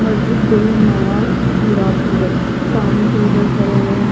मस्जिद गरीब नवाज हीरापुर सामने two wheeler ठहरे हुए हैं।